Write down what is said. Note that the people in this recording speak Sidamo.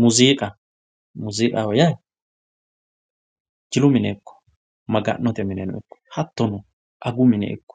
Muuzziiqqa, muuzziiqqaho yaa jillu mine ikko maga'note mineno ikko hatono agu mine ikko